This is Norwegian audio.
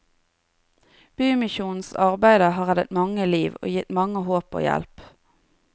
Bymisjonens arbeide har reddet mange liv, og gitt mange håp og hjelp.